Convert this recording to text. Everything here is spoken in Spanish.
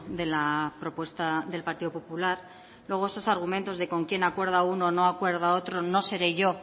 de la propuesta del partido popular luego esos argumentos de con quién acuerda uno no acuerda otro no seré yo